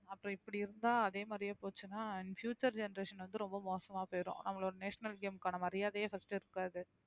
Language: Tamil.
அப்புறம் இப்படி இருந்தா அதே மாதிரியே போச்சுன்னா future generation வந்து ரொம்ப மோசமா போயிடும் அவங்களோட national game க்கான மரியாதையே first இருக்காது